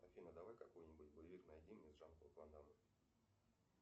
афина давай какой нибудь боевик найди мне с жан клод ван даммом